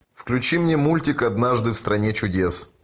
включи мне мультик однажды в стране чудес